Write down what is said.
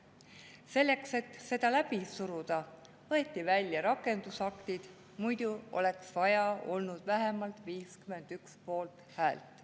Selleks, et seda läbi suruda, võeti sealt välja rakendusaktid, muidu oleks vaja olnud vähemalt 51 poolthäält.